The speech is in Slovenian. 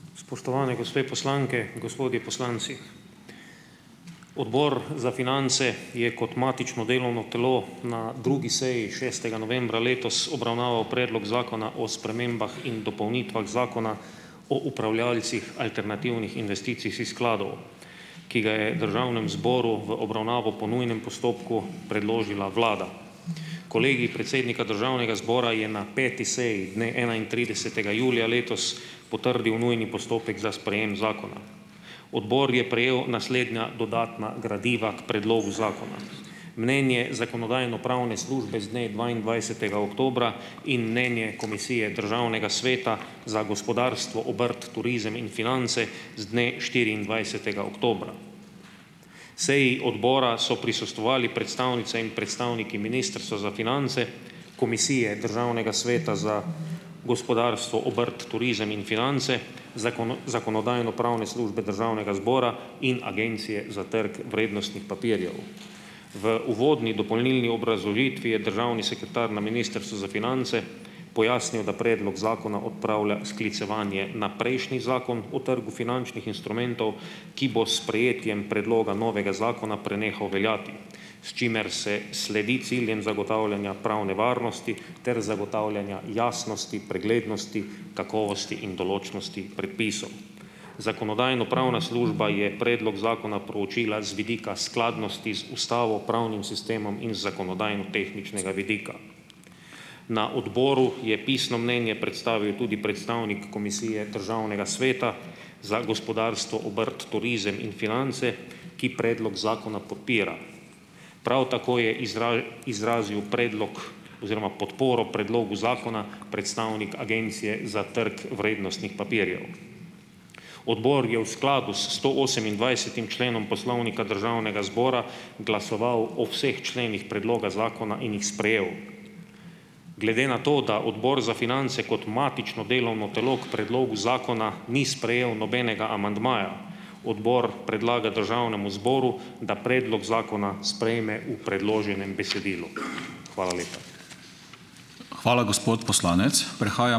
Spoštovane gospe poslanke in gospodje poslanci! Odbor za finance je kot matično delovno telo na drugi seji, šestega novembra letos, obravnaval predlog zakona o spremembah in dopolnitvah zakona o upravljavcih alternativnih investicijskih skladov, ki ga je državnemu zboru v obravnavo po nujnem postopku predložila vlada. Kolegij predsednika državnega zbora je na peti seji, dne enaintridesetega julija letos, potrdil nujni postopek za sprejem zakona. Odbor je prejel naslednja dodatna gradiva k predlogu zakona: mnenje Zakonodajno-pravne službe z dne dvaindvajsetega oktobra in mnenje Komisije Državnega sveta za gospodarstvo, obrt, turizem in finance z dne štiriindvajsetega oktobra. Seji odbora so prisostvovali predstavnice in predstavniki Ministrstva za finance, Komisije Državnega sveta za gospodarstvo, obrt, turizem in finance, Zakonodajno-pravne službe Državnega zbora in Agencije za trg vrednostnih papirjev. V uvodni dopolnilni obrazložitvi je državni sekretar na Ministrstvu za finance pojasnil, da predlog zakona odpravlja sklicevanje na prejšnji zakon o trgu finančnih instrumentov, ki bo s sprejetjem predloga novega zakona prenehal veljati, s čimer se sledi ciljem zagotavljanja pravne varnosti ter zagotavljanja jasnosti, preglednosti, kakovosti in določnosti predpisov. Zakonodajno-pravna služba je predlog zakona proučila z vidika skladnosti z ustavo, pravnim sistemom in z zakonodajnotehničnega vidika. Na odboru je pisno mnenje predstavil tudi predstavnik Komisije Državnega sveta za gospodarstvo, obrt, turizem in finance, ki predlog zakona podpira. Prav tako je izrazil predlog oziroma podporo predlogu zakona predstavnik Agencije za trg vrednostnih papirjev. Odbor je v skladu s stoosemindvajsetim členom Poslovnika Državnega zbora glasoval o vseh členih predloga zakona in jih sprejel. Glede na to, da Odbor za finance kot matično delovno telo k predlogu zakona ni sprejel nobenega amandmaja, odbor predlaga državnemu zboru, da predlog zakona sprejme v predloženem besedilu. Hvala lepa.